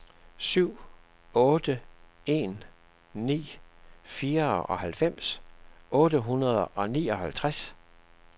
syv otte en ni fireoghalvfems otte hundrede og nioghalvtreds